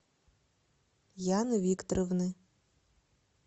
яны викторовны